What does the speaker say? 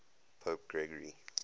pope gregory